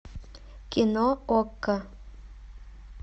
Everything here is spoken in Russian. кино окко